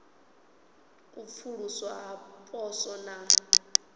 u pfuluswa ha poswo na